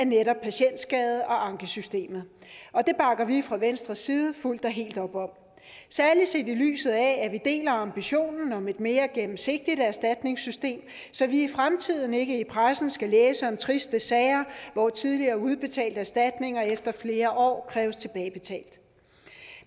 netop patientskade og ankesystemet det bakker vi fra venstres side fuldt og helt op om særlig set i lyset af at vi deler ambitionen om et mere gennemsigtigt erstatningssystem så vi i fremtiden ikke i pressen skal læse om triste sager hvor tidligere udbetalte erstatninger efter flere år kræves tilbagebetalt